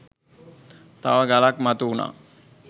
තව ගලක් මතු වුනා.